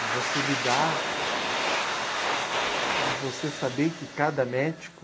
De você lidar, você saber que cada médico...